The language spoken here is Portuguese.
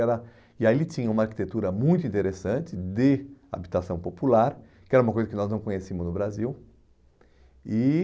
Era e aí ele tinha uma arquitetura muito interessante de habitação popular, que era uma coisa que nós não conhecíamos no Brasil. E